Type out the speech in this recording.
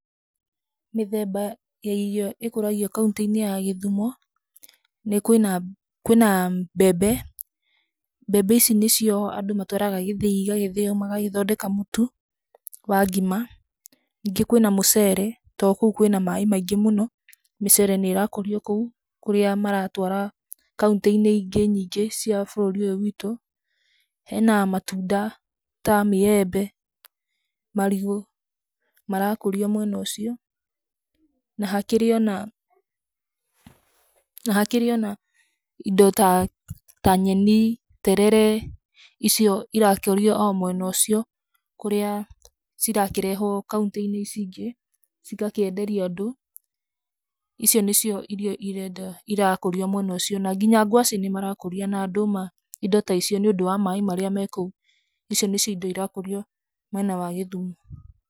Mĩthemba ya irio ĩkũragio kauntĩ-inĩ ya gĩthumo, nĩ kwĩna kwĩna mbembe, mbembe ici nĩcio andũ matwaraga gĩthĩi igagĩthĩyo, magagĩthondeka mũtu wa ngima, ningĩ kwĩna mũcere, to kũu kwĩna maĩ maingĩ mũno, mĩcere nĩ ĩrakũrio kũu, kũrĩa maratwara kauntĩ-inĩ ingĩ nyingĩ cia bũrũri ũyũ witũ, hena matunda ta maembe, marigũ, marakũrio mwena ũcio, na hakĩrĩ ona na hakĩrĩ ona indo ta ta nyeni, terere icio irakũrio o mwena ũcio, kũrĩa cirakĩrehwo kauntĩ-inĩ ici ingĩ, cigakĩenderio andũ, icio nicio irio iria ndĩ irakũrio mwena ũcio, na nginya gwacĩ nĩ marakũria, na ndũma indo ta icio, nĩ ũndũ wa maĩ marĩa mekũu, icio nĩcio indo irakũrio mwena wa gĩthumo.